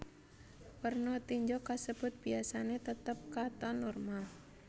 Werna tinja kasebut biyasane tetep katon normal